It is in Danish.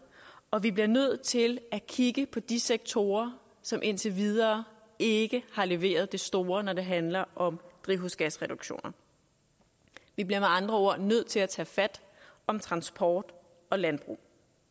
og vi bliver nødt til at kigge på de sektorer som indtil videre ikke har leveret det store når det handler om drivhusgasreduktioner vi bliver med andre ord nødt til at tage fat om transport og landbrug